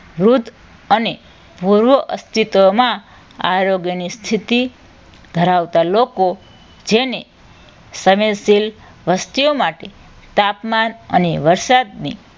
મૃત અને પુરવા અસ્તિત્વમાં આરોગ્યની સ્થિતિ ધરાવતા લોકો જેને સમયશીલ વસ્તીઓ માટે તાપમાન અને વરસાદની